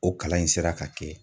O kalan in sera ka kɛ.